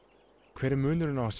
hver er munurinn á að